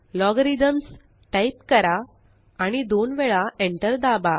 Logarithms type करा आणि दोन वेळा Enter दाबा